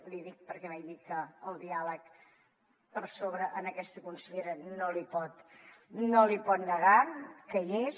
l’hi dic perquè vegi que el diàleg per sobre a aquesta consellera no li pot negar que hi és